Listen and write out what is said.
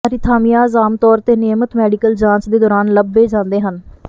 arrhythmias ਆਮ ਤੌਰ ਤੇ ਨਿਯਮਤ ਮੈਡੀਕਲ ਜਾਂਚ ਦੇ ਦੌਰਾਨ ਲੱਭੇ ਜਾਂਦੇ ਹਨ